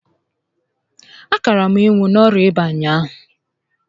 A kaara m ịnwụ n'orịa ịba ụnyaahụ